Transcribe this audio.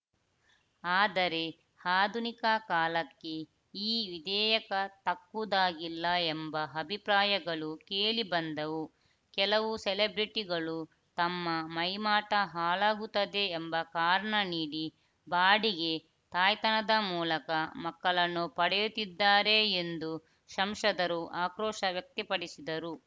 ಆದರೆ ಆಧುನಿಕ ಕಾಲಕ್ಕೆ ಈ ವಿಧೇಯಕ ತಕ್ಕುದಾಗಿಲ್ಲ ಎಂಬ ಅಭಿಪ್ರಾಯಗಳೂ ಕೇಳಿಬಂದವು ಕೆಲವು ಸೆಲೆಬ್ರಿಟಿಗಳು ತಮ್ಮ ಮೈಮಾಟ ಹಾಳಾಗುತ್ತದೆ ಎಂಬ ಕಾರಣ ನೀಡಿ ಬಾಡಿಗೆ ತಾಯ್ತನದ ಮೂಲಕ ಮಕ್ಕಳನ್ನು ಪಡೆಯುತ್ತಿದ್ದಾರೆ ಎಂದು ಸಂಸದರು ಆಕ್ರೋಶ ವ್ಯಕ್ತಪಡಿಸಿದರು